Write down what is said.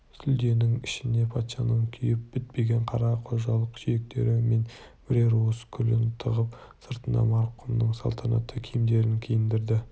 сүлденің ішіне патшаның күйіп бітпеген қара-қожалақ сүйектері мен бірер уыс күлін тығып сыртына марқұмның салтанатты киімдерін киіндірді